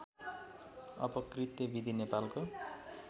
अपकृत्‍य विधि नेपालको